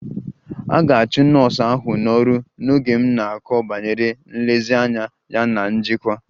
A ga-achụ nọọsụ ahụ n'ọrụ n'oge m na-akọ banyere nlezianya ya na njikwa